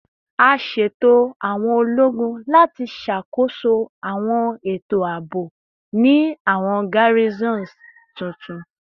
A ṣeto awọn ologun lati ṣakoso awọn eto aabo ni awọn garrisons tuntun